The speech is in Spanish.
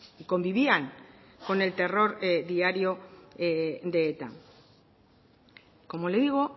y convivían con el terror diario de eta como le digo